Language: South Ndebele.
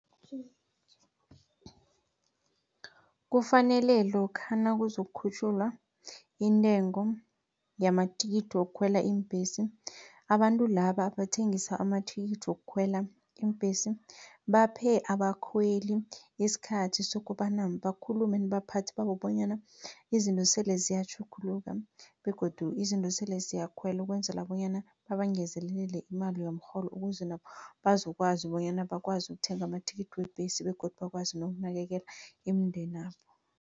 Kufanele lokha nakuzokukhutjhulwa intengo yamathikithi wokukhwela iimbhesi, abantu laba abathengisa amathikithi wokukhwela iimbhesi, baphe abakhweli isikhathi sokobana bakhulume nabaphathi babo, bonyana izinto sele ziyatjhuguluka. Begodu izinto sele ziyakhwela ukwenzela bonyana babangezelele imali yomrholo, ukuze nabo bazokwazi bonyana bakwazi ukuthenga amathikithi webhesi begodu bakwazi nokunakekela imindeni yabo.